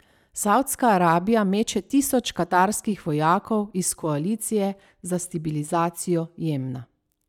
Savdska Arabija meče tisoč katarskih vojakov iz koalicije za stabilizacijo Jemna.